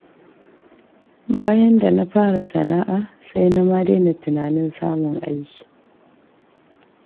Bayan da na fara sana'a, sai na ma daina tunanin samun aiki.